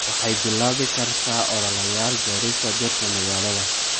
Waxay bilaabi kartaa ololayaal beerista dhirta magaalada.